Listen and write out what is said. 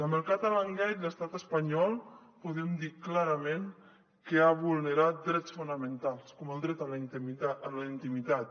amb el catalangate l’estat espanyol podem dir clarament que ha vulnerat drets fonamentals com el dret a la intimitat